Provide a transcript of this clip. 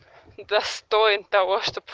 достоин того чтобы